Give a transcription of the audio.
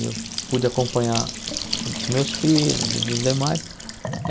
Eu pude acompanhar o dos meus filhos e dos demais.